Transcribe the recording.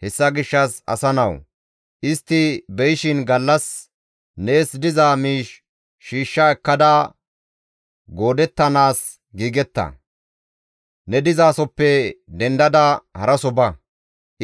Hessa gishshas asa nawu! Istti be7ishin gallas nees diza miish shiishsha ekkada goodettanaas giigetta; ne dizasoppe dendada haraso ba.